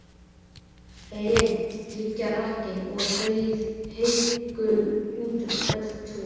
Heyin liggja hrakin og heiðgul útum öll tún.